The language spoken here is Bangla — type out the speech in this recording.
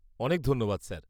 অনেক ধন্যবাদ স্যার।